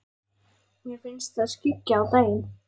Mér finnst það skyggja á daginn.